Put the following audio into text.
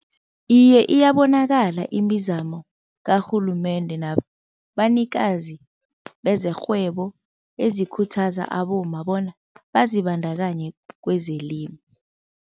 Iye iyabonakala imizamo karhulumende nabanikazi bezerhwebo ezikhuthaza abomma bona bazibandakanye kwezelimo.